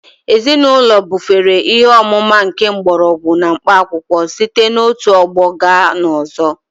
Ezinaụlọ bufere ihe ọmụma nke mgbọrọgwụ na mkpaakwụkwọ site n'otu ọgbọ gaa n'ọzọ